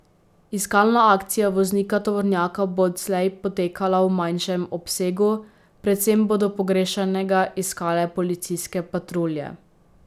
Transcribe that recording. Iskalna akcija voznika tovornjaka bo odslej potekala v manjšem obsegu, predvsem bodo pogrešanega iskale policijske patrulje.